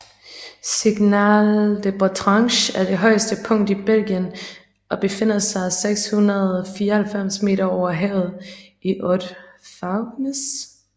Signal de Botrange er det højeste punkt i Belgien og befinder sig 694 meter over havet i Hautes Fagnes